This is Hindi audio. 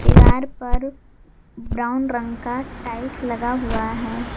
दीवार पर ब्राउन रंग का टाइल्स लगा हुआ है।